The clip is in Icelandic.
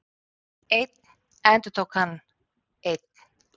Einn, endurtók hann, einn.